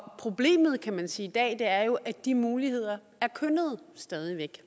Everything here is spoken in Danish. problemet kan man sige i dag er jo at de muligheder stadig væk